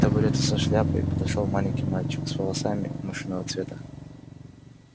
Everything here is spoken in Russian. к табурету со шляпой подошёл маленький мальчик с волосами мышиного цвета